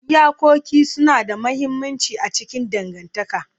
Iyakoki suna da mahimmanci a cikin dangantaka.